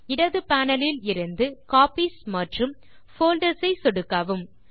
இடது பேனல் இலிருந்து காப்பீஸ் மற்றும் போல்டர்ஸ் ஐ சொடுக்கவும்